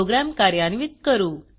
program कार्यान्वित करू